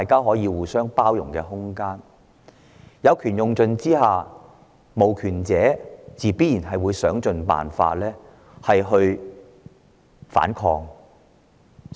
再者，在當權者有權用盡的情況下，無權者自然會想盡辦法反抗。